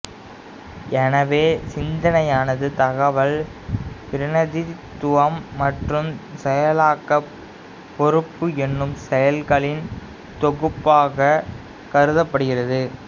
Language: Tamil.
எனவே சிந்தனையானது தகவல் பிரதிநிதித்துவம் மற்றும் செயலாக்க பொறுப்பு என்னும் செயல்களின் தொகுப்பாகக் கருதப்படுகிறது